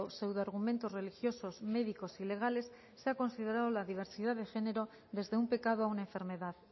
pseudoargumentos religiosos médicos y legales se ha considerado la diversidad de género desde un pecado a una enfermedad